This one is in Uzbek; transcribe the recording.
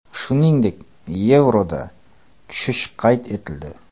Shuningdek, yevroda tushish qayd etildi.